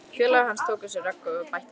Félagi hans tók á sig rögg og bætti við